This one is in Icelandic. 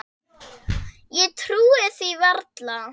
Ég trúði því varla.